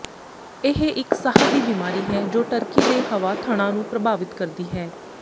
ਇਹ ਇੱਕ ਸਾਹ ਦੀ ਬਿਮਾਰੀ ਹੈ ਜੋ ਟਰਕੀ ਦੇ ਹਵਾ ਥਣਾਂ ਨੂੰ ਪ੍ਰਭਾਵਿਤ ਕਰਦੀ ਹੈ